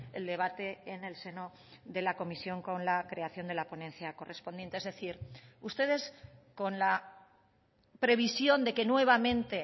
el debate en el seno de la comisión con la creación de la ponencia correspondiente es decir ustedes con la previsión de que nuevamente